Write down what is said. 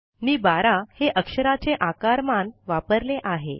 मी बारा हे अक्षराचे आकारमान वापरले आहे